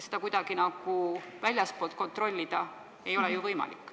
Seda kuidagi väljastpoolt kontrollida ei ole ju võimalik.